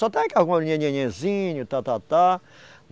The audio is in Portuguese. Só está aí nhenhenhezinho, tá, tá, tá.